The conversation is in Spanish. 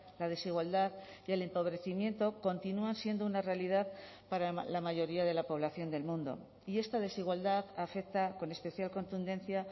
la desigualdad y el empobrecimiento continúan siendo una realidad para la mayoría de la población del mundo y esta desigualdad afecta con especial contundencia